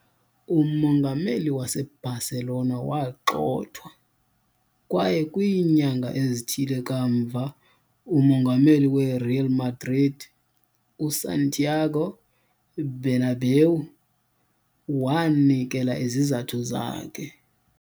Umongameli waseBarcelona wagxothwa, kwaye kwiinyanga ezithile kamva umongameli weReal Madrid, uSantiago Bernabéu, wanikela izizathu zakhe.